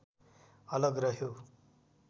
अलग रह्यो